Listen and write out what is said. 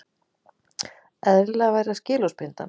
Eðlilegra væri að skilorðsbinda hann